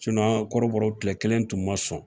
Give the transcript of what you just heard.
an ga kɔrɔbɔrɔ kile kelen tun ma sɔn.